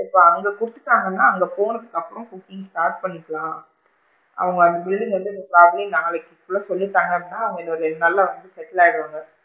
இப்போ அங்க குடுதுட்டாங்கனா அங்க போனதுக்கு அப்பறம் cooking start பண்ணிக்கலாம் அவுங்க அந்த building வந்து probably நாளைக்குள்ள சொல்லிட்டாங்க அப்படின்னா அவுங்க இங்க ஒரு நல்லா வந்து settle ஆகிடுவாங்க.